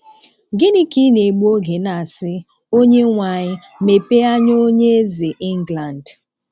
Gị́nị kà ị́ nà-ègbú ógè ná-àsị́ "Ónyénweamyị mepéé ányá ónyé Ézè England